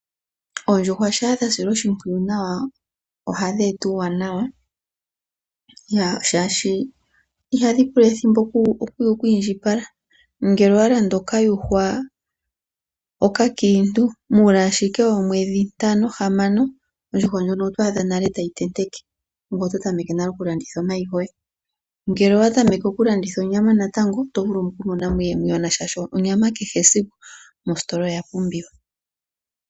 Oondjuhwa shaa dha silwa oshimpwiyu nawa ohadhi eta uuwanawa, shaashi ihadhi pula ethimbo oku indjipala. Ngele owa landa okayuhwa okakiintu, muule ashike woomwedhi ntano, hamano ondjuhwa ndjono oto adha nale tayi tenteke ngoye oto tameke nale oku landitha omayi goye. Ngele owa tameke oku landitha onyama natango oto vulu okumona mo iiyemo iiwanawa, shaashi onyama kehesiku mositola oya pumbiwa.